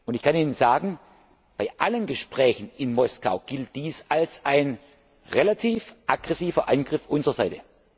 Ich kann Ihnen sagen, bei allen Gesprächen in Moskau gilt dies als ein relativ aggressiver Angriff unserer Seite.